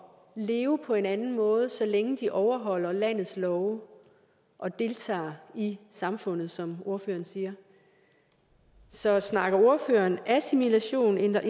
leve på en anden måde så længe de overholder landets love og deltager i samfundet som ordføreren siger så snakker ordføreren assimilation eller